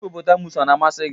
Hịpopotamus ọ na-amasị gị?